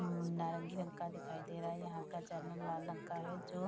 अम्म नारंगी रंग का दिखाई देखे दे रहा है यहाँ का लाल रंग का है जो --